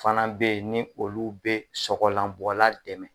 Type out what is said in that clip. Fana be yen ni olu be sɔgɔlanbɔla dɛmɛ